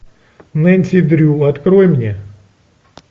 нэнси дрю открой мне